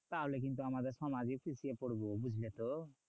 তাহলে কিন্তু আমাদের সমাজে পিছিয়ে পরবো, বুঝলে তো?